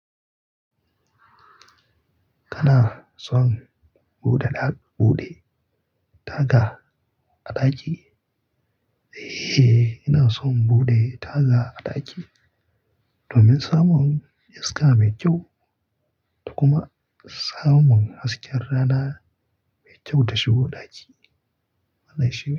Kana son buɗe daɓ- buɗe taga a ɗaki? Eh, ina son buɗe taga a ɗaki domin samun iska mai kyau da kuma samun hasken rana mai kyau da shigo ɗaki. Mana shi.